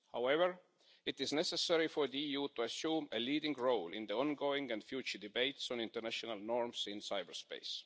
However, it is necessary for the EU to assume a leading role in the ongoing and future debates on international norms in cyberspace.